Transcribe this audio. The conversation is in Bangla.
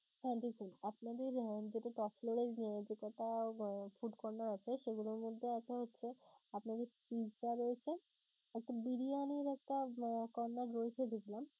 হ্যাঁ দেখুন আপনাদের যেটা top floor এর যেটা food corner আছে সেগুলোর মধ্যে আছে হচ্ছে আপনাদের pizza রয়েছে একটা, বিরিয়ানির একটা corner রয়েছে দেখলাম